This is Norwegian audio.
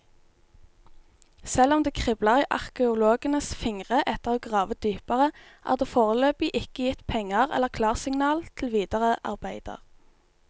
Selv om det kribler i arkeologenes fingre etter å grave dypere, er det foreløpig ikke gitt penger eller klarsignal til videre arbeider.